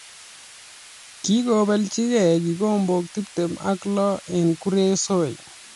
Kikobelchigei kikombok tiptem ak lo eng kuresoi